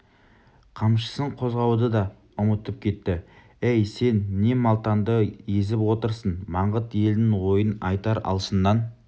қамшысын қозғауды да ұмытып кетті әй сен не малтаңды езіп отырсың маңғыт елінің ойын айтар алшыннан